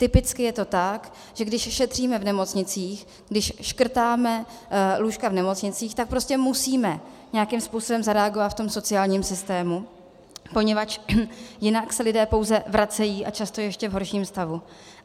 Typicky je to tak, že když ušetříme v nemocnicích, když škrtáme lůžka v nemocnicích, tak prostě musíme nějakým způsobem zareagovat v tom sociálním systému, poněvadž jinak se lidé pouze vracejí, a často v ještě horším stavu.